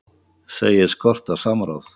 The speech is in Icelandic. Segir skorta samráð